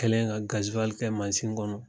Kɛlen ka kɛ masin kɔnɔ.